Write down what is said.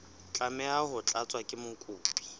tlameha ho tlatswa ke mokopi